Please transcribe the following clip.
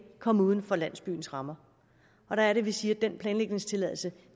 komme uden for landsbyens rammer der er det vi siger at den planlægningstilladelse